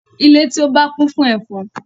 Ile ti o ba kun fun efon